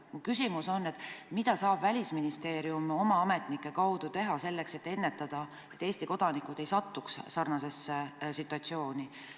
Mu küsimus ongi: mida saab Välisministeerium oma ametnike abil teha selleks, et tagada, et Eesti kodanikud ei satuks sarnasesse situatsiooni?